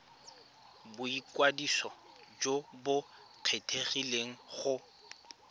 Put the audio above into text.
boikwadiso jo bo kgethegileng go